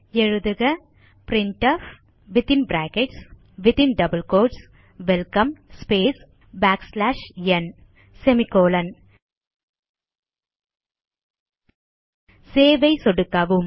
எழுதுக printfவெல்கம் ந் சேவ் ஐ சொடுக்கவும்